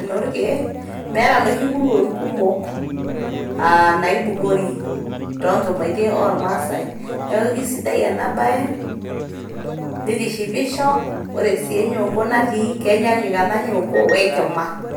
enoorkiek meeta noshi kuruon kumok aa naibukori toonkimaitie oormaasae. niaku kisidai ena bae nitishipisho, ore sii enyongo natii kenyaanyuk ena nyonko we enkima.